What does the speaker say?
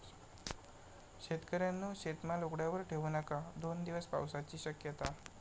शेतकऱ्यांनो, शेतमाल उघड्यावर ठेऊ नका!, दोन दिवस पावसाची शक्यता